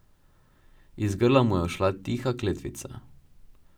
Iz grla mu je ušla tiha kletvica.